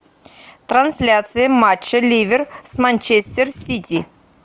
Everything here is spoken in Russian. трансляция матча ливер с манчестер сити